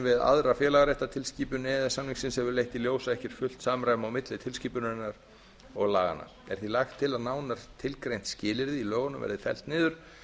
við aðra félagaréttartilskipun e e s samningsins hefur leitt í ljós að ekki er fullt samræmi á milli tilskipunarinnar og laganna er því lagt til að nánar tilgreint skilyrði í lögunum verði fellt niður